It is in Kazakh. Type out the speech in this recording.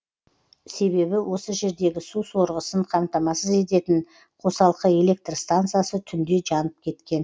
себебі осы жердегі су сорғысын қамтамасыз ететін қосалқы электр стансасы түнде жанып кеткен